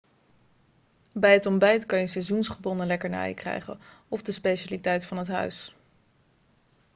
bij het ontbijt kan je seizoensgebonden lekkernijen krijgen of de specialiteit van het huis